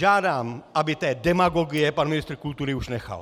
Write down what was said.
Žádám, aby té demagogie pan ministr kultury už nechal!